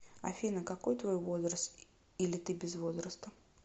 афина какой твой возраст или ты без возраста